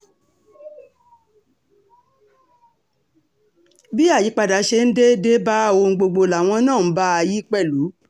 bí àyípadà ṣe ń dé dé bá ohun gbogbo làwọn náà ń bá a yí pẹ̀lú